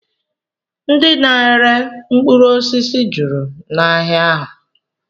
Ndị na-ere mkpụrụosisi juru n'ahịa ahụ